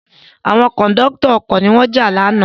Àwọn Kòńdọ́tọ̀ ọkọ̀ ni wọ́n jà lánàá